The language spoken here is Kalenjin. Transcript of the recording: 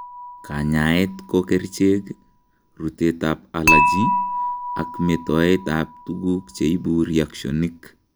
Kanyaeet ko kericheek, ruteet ab allergy, ak metoet ab tuguk cheibu reactionik